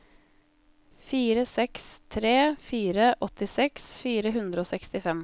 fire seks tre fire åttiseks fire hundre og sekstifem